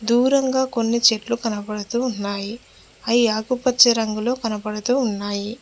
దూరంగా కొన్ని చెట్లు కనబడుతూ ఉన్నాయి అయి ఆకుపచ్చ రంగులో కనబడుతూ ఉన్నాయి.